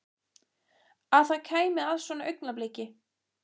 Að það kæmi að svona augnabliki.